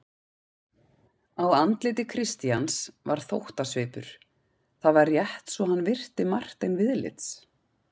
Á andliti Christians var þóttasvipur: það var rétt svo hann virti Martein viðlits.